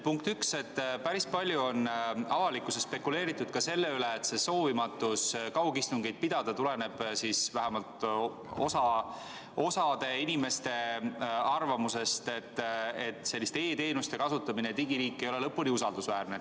Punkt üks: päris palju on avalikkuses spekuleeritud selle üle, et soovimatus kaugistungit pidada tuleneb osa inimeste arvamusest, et e-teenuste kasutamine ja digiriik ei ole lõpuni usaldusväärsed.